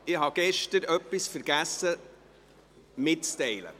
Ich habe gestern vergessen, etwas mitzuteilen.